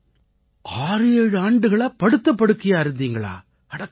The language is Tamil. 7 ஆண்டுகளா படுத்த படுக்கையா இருந்தீங்களா அடக் கடவுளே